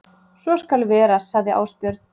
Svo skal vera sagði Ásbjörn.